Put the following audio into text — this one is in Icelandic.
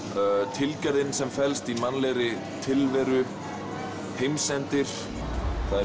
tilgerðin sem felst í mannlegri tilveru heimsendir það er